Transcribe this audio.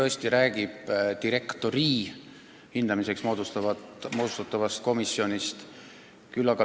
Eelnõu räägib direktori hindamiseks moodustatavast komisjonist.